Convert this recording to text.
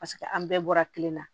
Paseke an bɛɛ bɔra kelen na